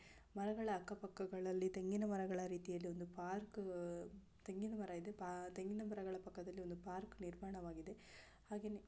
ಮರಗಳ ಅಕ್ಕಪಕ್ಕಗಳಲ್ಲಿ ತೆಂಗಿನ ಮರಗಳ ರಿತಿ ಇಲೋಂದು ಪಾರ್ಕ ಅಹ ತೆಂಗಿನ ಮರ ಇದೆ ಪಾ ತೆಂಗಿನ ಮರಗಳ ಪಕ್ಕದಲ್ಲಿ ಒಂದು ಪಾರ್ಕ ನಿರ್ಮಾಣವಾಗಿದೆ ಹಾಗೆನೆ --